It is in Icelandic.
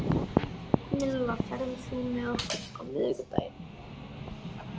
Milla, ferð þú með okkur á miðvikudaginn?